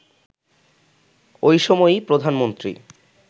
ওই সময়ই প্রধানমন্ত্রী